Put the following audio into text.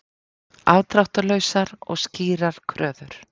Afdráttarlausar og skýrar kröfur